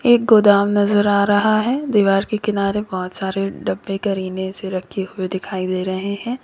एक गोदाम नजर आ रहा है दीवार के किनारे बहुत सारे डब्बे करीने से रखे हुए दिखाई दे रहे हैं।